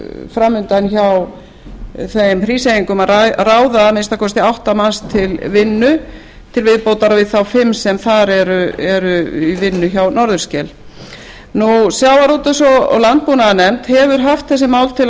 fram undan hjá hríseyingum að ráða að minnsta kosti átta manns til vinnu til viðbótar við þá fimm sem þar eru í vinnu hjá norðurskel sjávarútvegs og landbúnaðarnefnd hefur haft þessi mál til